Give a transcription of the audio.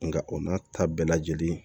Nka o n'a ta bɛɛ lajɛlen